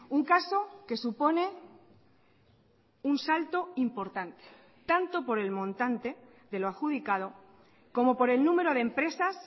un caso que supone un salto importante tanto por el montante de lo adjudicado como por el número de empresas